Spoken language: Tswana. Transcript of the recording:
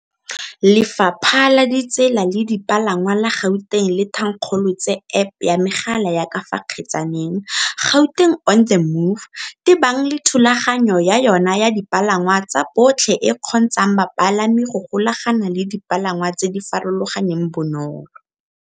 Lefapha la Ditsela le Dipalangwa la Gauteng le thankgolo tse App ya megala ya ka fa kgetsaneng, Gauteng on the Move, tebang le thulaganyo ya yona ya dipalangwa tsa botlhe e e kgontshang bapalami go golagana le dipalangwa tse di farologaneng bonolo.